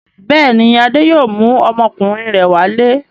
Bẹ́ẹ̀ ni, Adé yóò mú ọmọkùnrin rẹ̀ wálé.